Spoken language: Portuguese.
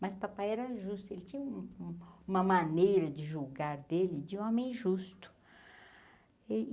Mas o papai era justo, ele tinha um um uma maneira de julgar dele de homem justo.